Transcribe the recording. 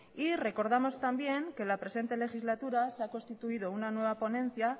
y recordamos también que en la presente legislatura se ha constituido una nueva ponencia